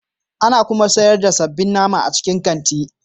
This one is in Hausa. Ana kuma sayar da sabbin nama a cikin kanti.